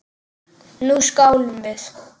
Nú skálum við!